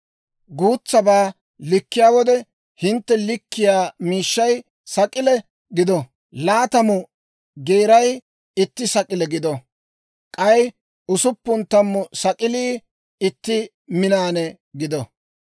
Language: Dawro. Guutsabaa likkiyaa wode, hintte likkiyaa miishshay Sak'ile gido. Laatamu Geeray itti Sak'ile gido; k'ay usuppun tammu Sak'ilii itti Minaane gido.